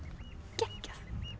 geggjað